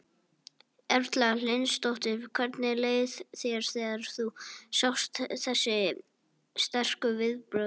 Erla Hlynsdóttir: Hvernig leið þér þegar þú sást þessi sterku viðbrögð?